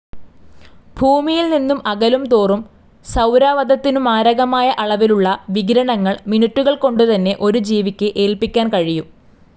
ഭൂമിയിൽ നിന്നു അകലുംതോറും സൌരാവതത്തിനു മാരകമായ അളവിലുള്ള വികിരണങ്ങൾ മിനിറ്റുകൾകൊണ്ടുതന്നെ ഒരു ജീവിക്ക് ഏൽപ്പിക്കാൻ കഴിയും.